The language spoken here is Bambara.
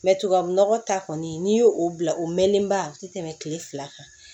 tubabu nɔgɔ ta kɔni n'i y'o bila o mɛnenba a ti tɛmɛ kile fila kan